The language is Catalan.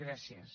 gràcies